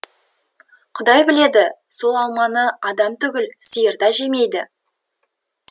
құдай біледі сол алманы адам түгіл сиыр да жемейді